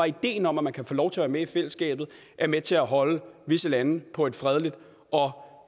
ideen om at man kan få lov til at være med i fællesskabet er med til at holde visse lande på et fredeligt og